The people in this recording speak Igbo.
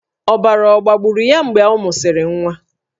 Ọbara ọ̀ gbagburu ya mgbe ọ mụsịrị nwa?